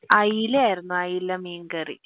അയില ആയിരുന്നു അയല മീൻകറി